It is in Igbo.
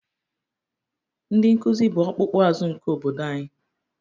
Ndị nkuzi bụ ọkpụkpụ azụ nke obodo anyị